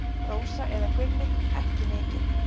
Rósa eða Gulli: Ekki mikið.